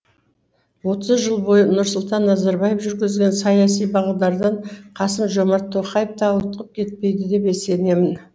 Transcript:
отыз жыл бойы нұрсұлтан назарбаев жүргізген саяси бағдардан қасым жомарт тоқаев та ауытқып кетпейді деп сенемін